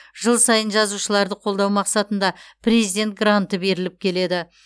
жыл сайын жазушыларды қолдау мақсатында президент гранты беріліп келеді